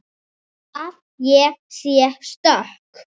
Að ég sé stök.